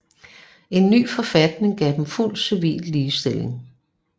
En ny forfatning gav dem fuld civil ligestilling